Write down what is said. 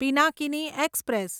Pinakini express